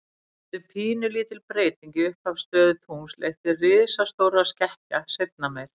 Þannig getur pínulítil breyting í upphafsstöðu tungls leitt til risastórra skekkja seinna meir.